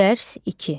Dərs 2.